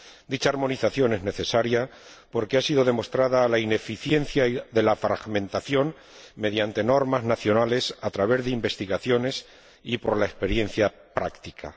Dicha armonización es necesaria porque ha sido demostrada la ineficiencia de la fragmentación mediante normas nacionales, a través de investigaciones y por la experiencia práctica.